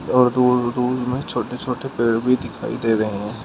और दूर दूर में छोटे छोटे पेड़ भी दिखाई दे रहे हैं।